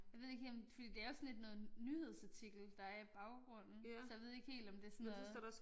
Jeg ved ikke helt om fordi det er jo sådan lidt noget nyhedsartikel der er i baggrunden så jeg ved ikke helt om det sådan noget